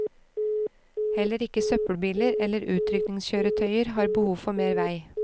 Heller ikke søppelbiler eller utrykningskjøretøyer har behov for mer vei.